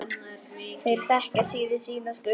Þeir þekkja síður sína stöðu.